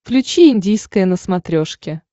включи индийское на смотрешке